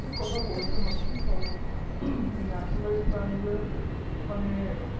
ঠিক কথা বলেছেন আপনি কারণ হম এই nationalized bank এ মানে